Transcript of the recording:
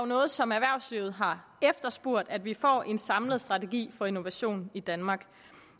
noget som erhvervslivet har efterspurgt at vi får en samlet strategi for innovation i danmark